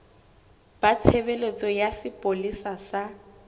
ba tshebeletso ya sepolesa sa